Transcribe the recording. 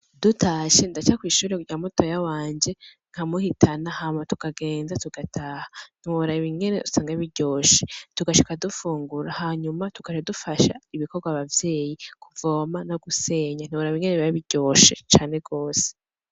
Dutashe ndaca kwishure rya mutoya wanje nkamuhitana hama tukagenda tugataha, ntiworaba ingene usanga biryoshe. Tugashika dufungura hanyuma tugaca dufasha ibikorwa abavyeyi kuvoma no gusenya, ntiworaba ngene biba biryoshe came gose.